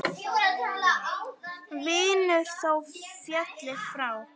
Vinur þó féllir frá.